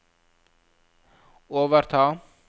overta